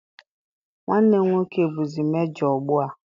Nwanne m nwoke bụzi mejọ ugbu a.